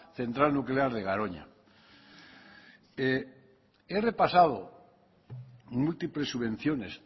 central nuclear de garoña he repasado múltiples subvenciones